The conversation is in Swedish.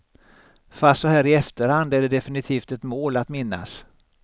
Fast såhär i efterhand är det definitivt ett mål att minnas.